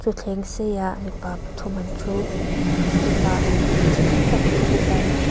thleng seiah mipa pathum an thu step ah hmeichhe tam tak an thu tlar--